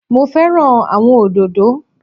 Mo fẹ́ràn àwọn òdòdó